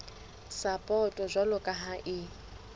sapoto jwalo ka ha e